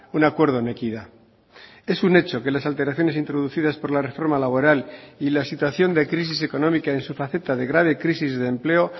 un acuerdo en equidad es un hecho que las alteraciones introducidas por la reforma laboral y la situación de crisis económica en su faceta de grave crisis de empleo